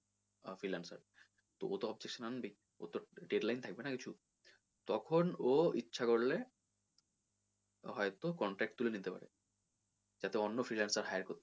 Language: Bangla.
আহ freelancer তো ও তো objection আনবেই ওর তো deadline থাকবে না তোর কিছু তখন ও ইচ্ছা করলে হয়তো contract তুলে নিতে পারে তাতে অন্য freelancer hire করতে পারে।